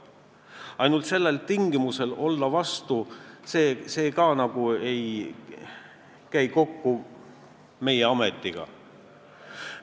Ainult sellepärast olla vastu – see ka nagu ei käi meie ametiga kokku.